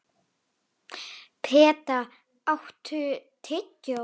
Peta, áttu tyggjó?